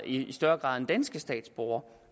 i større grad end danske statsborgere